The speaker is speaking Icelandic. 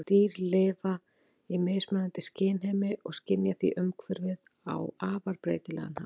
Dýr lifa í mismunandi skynheimi og skynja því umhverfið á afar breytilegan hátt.